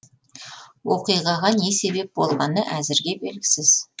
оқиғаға не себеп болғаны әзірге белгісіз